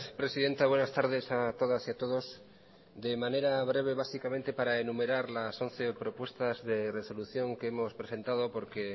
presidenta buenas tardes a todas y a todos de manera breve básicamente para enumerar las once propuestas de resolución que hemos presentado porque